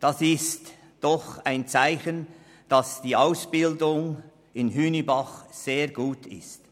Das ist doch ein Zeichen dafür, dass die Ausbildung in Hünibach sehr gut ist.